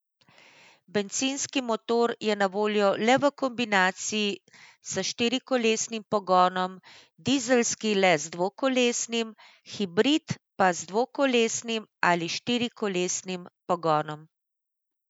Bencinski motor je na voljo le v kombinaciji s štirikolesnim pogonom, dizelski le z dvokolesnim, hibrid pa z dvokolesnim ali štirikolesnim pogonom.